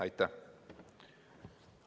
Aitäh!